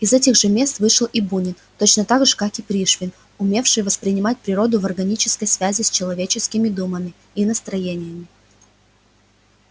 из этих же мест вышел и бунин точно так же как и пришвин умевший воспринимать природу в органической связи с человеческими думами и настроениями